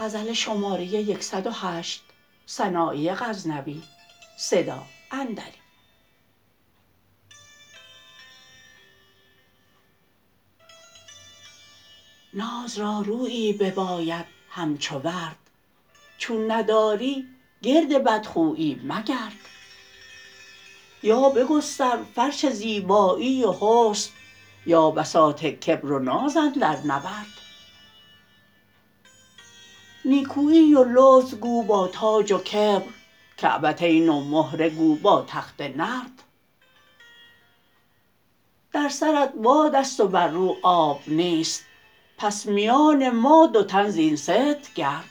ناز را رویی بباید همچو ورد چون نداری گرد بدخویی مگرد یا بگستر فرش زیبایی و حسن یا بساط کبر و ناز اندر نورد نیکویی و لطف گو با تاج و کبر کعبتین و مهره گو با تخته نرد در سرت بادست و بر رو آب نیست پس میان ما دو تن زین ست گرد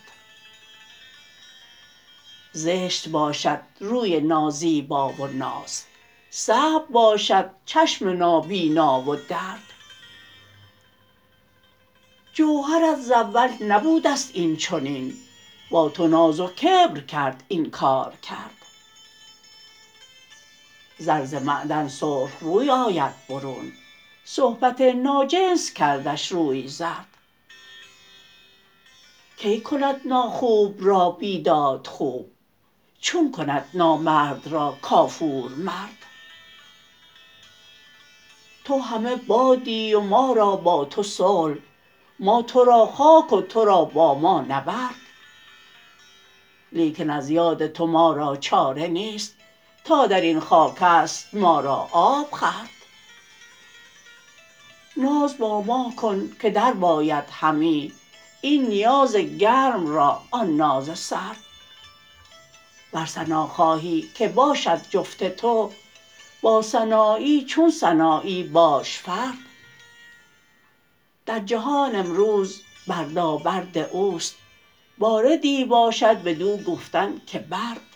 زشت باشد روی نازیبا و ناز صعب باشد چشم نابینا و درد جوهرت ز اول نبودست این چنین با تو ناز و کبر کرد این کارکرد زر ز معدن سرخ روی آید برون صحبت ناجنس کردش روی زرد کی کند ناخوب را بیداد خوب چون کند نامرد را کافور مرد تو همه بادی و ما را با تو صلح ما ترا خاک و ترا با ما نبرد لیکن از یاد تو ما را چاره نیست تا در این خاکست ما را آب خورد ناز با ما کن که درباید همی این نیاز گرم را آن ناز سرد ور ثنا خواهی که باشد جفت تو با سنایی چون سنایی باش فرد در جهان امروز بردابرد اوست باردی باشد بدو گفتن که برد